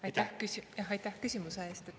Aitäh küsimuse eest!